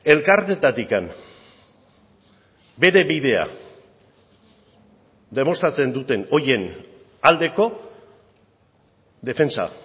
elkarteetatik bere bidea demostratzen duten horien aldeko defentsa